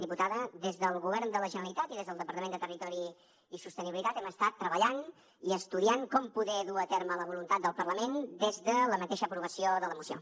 diputada des del govern de la generalitat i des del departament de territori i sostenibilitat hem estat treballant i estudiant com poder dur a terme la voluntat del parlament des de la mateixa aprovació de la moció